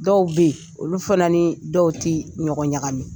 Dɔw be yen, olu fana ni dɔw ti ɲɔgɔn ɲagami.